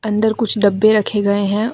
अंदर कुछ डब्बे रखे गए है।